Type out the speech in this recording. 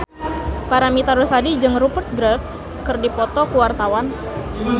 Paramitha Rusady jeung Rupert Graves keur dipoto ku wartawan